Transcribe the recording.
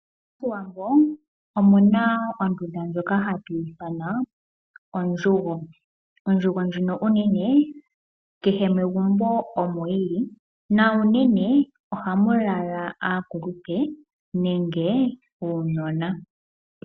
Moshiwambo, omuna ondunda ndjoka hatu ithana ondjugo. Ondjugo ndjono onene kehe megumbo omo yili, na unene ohamu lala aakulupe nenge uunona.